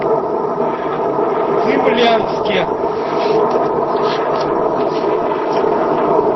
цимлянске